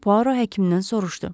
Puaro həkimindən soruşdu.